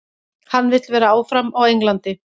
Hann vill vera áfram á Englandi.